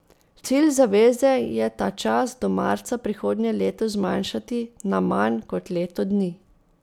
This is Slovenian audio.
Cilj zaveze je ta čas do marca prihodnje leto zmanjšati na manj kot leto dni.